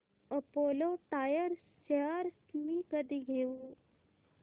Apollo tyres shares मी कधी घेऊ